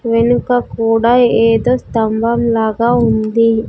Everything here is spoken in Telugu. వెనుక కూడా ఏదో స్తంభం లాగా ఉంది.